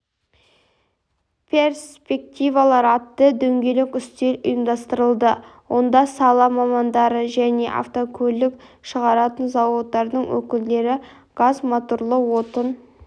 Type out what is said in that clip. перспективалар атты дөңгелек үстел ұйымдастырылды онда сала мамандары және автокөлік шығаратын зауыттардың өкілдері газмоторлы отын